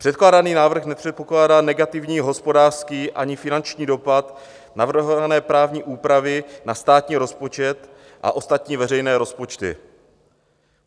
Předkládaný návrh nepředpokládá negativní hospodářský ani finanční dopad navrhované právní úpravy na státní rozpočet a ostatní veřejné rozpočty.